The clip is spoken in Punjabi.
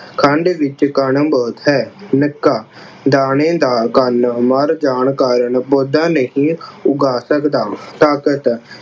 ਖੰਡ ਵਿੱਚ ਕਣ ਬਹੁਤ ਹੈ। ਨਿੱਕਾ ਦਾਰੇ ਦਾ ਕੰਨ ਮੜ੍ਹ ਜਾਣ ਕਾਰਨ ਨਹੀਂ ਉਗਾ ਸਕਦਾ। ਤਾਕਤ